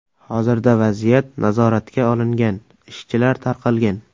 Hozirda vaziyat nazoratga olingan, ishchilar tarqalgan.